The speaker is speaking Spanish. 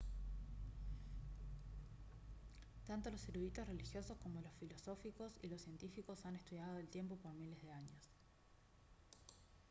tanto los eruditos religiosos como los filosóficos y los científicos han estudiado al tiempo por miles de años